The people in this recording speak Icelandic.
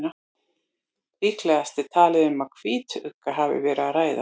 Líklegast er talið að um hvítugga hafi verið að ræða.